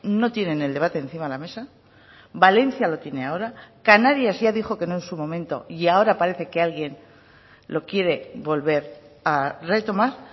no tienen el debate encima de la mesa valencia lo tiene ahora canarias ya dijo que no en su momento y ahora parece que alguien lo quiere volver a retomar